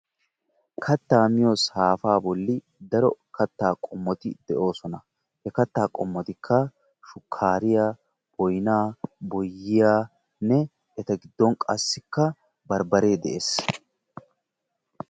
Kattaa miyo saafaa bolli daro kattaa qommoti de'oosona. He kattaa qommotikka shukaariya, boynaa boyyiyaanne eta giddon qassikka barbbare de'ees.